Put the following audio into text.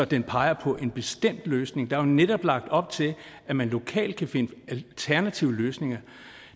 den peger på en bestemt løsning der er jo netop lagt op til at man lokalt kan finde alternative løsninger